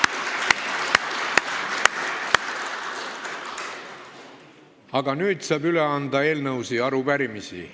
Aga nüüd saab üle anda eelnõusid ja arupärimisi.